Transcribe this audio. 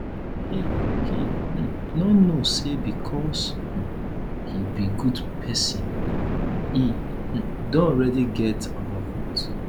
he he um no know say because um he be good person he um don already get our vote